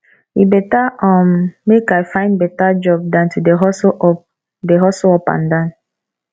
e beta um make i find beta job dan to dey hustle up dey hustle up and down